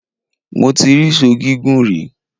Mo ti rí Sọ́ọ̀ gígùn rí.